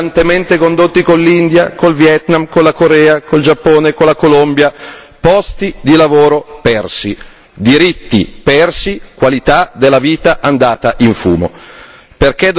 E poi i negoziati brillantemente condotti con l'India, con il Vietnam, con la Corea, con il Giappone, con la Colombia posti di lavoro persi, diritti persi, qualità della vita andata